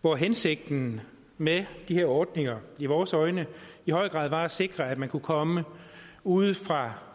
hvor hensigten med de her ordninger i vores øjne i høj grad var at sikre at man kunne komme ude fra